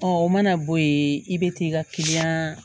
Ɔ o mana bɔ yen i bɛ t'i ka kiliyan